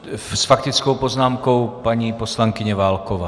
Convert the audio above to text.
S faktickou poznámkou paní poslankyně Válková.